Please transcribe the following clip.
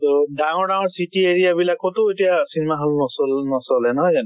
তʼ ডাঙৰ ডাঙৰ city area বিলাকতো এতিয়া cinema hall নচল নচলে নহয় জানো?